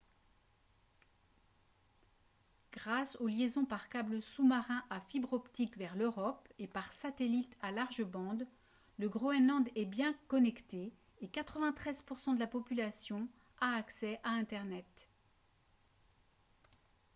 grâce aux liaisons par câble sous-marin à fibre optique vers l'europe et par satellite à large bande le groenland est bien connecté et 93% de la population a accès à internet